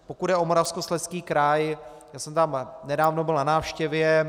Pokud jde o Moravskoslezský kraj, já jsem tam nedávno byl na návštěvě.